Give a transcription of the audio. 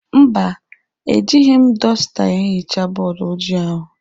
Mba, ejighi m dọsta ehichaa bọọdụ ojii ahụ.